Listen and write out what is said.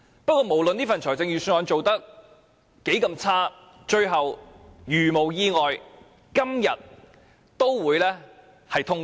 不過，無論這份預算案有多差勁，如無意外，也會在今天通過。